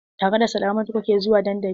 Tare da Salamatu kuke zuwa dandali?